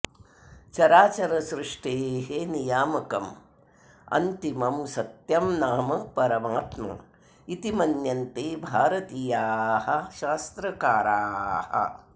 चराचरसृष्टेः नियामकम् अन्तिमं सत्यं नाम परमात्मा इति मन्यन्ते भारतीयाः शास्त्रकाराः